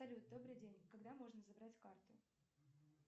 салют добрый день когда можно забрать карту